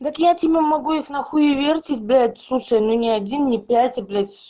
дак я тебе могу их на хуевертить блять слушай ну ни один не пять а блять